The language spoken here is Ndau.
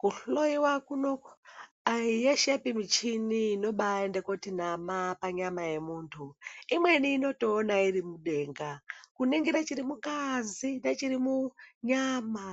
Kuhloyiwa kunoku ayi yeshepi muchini inobaenda kuti nama panyama yemuntu imweni inotoona iri mudenga kuningire chiri mungazi nechiri munyama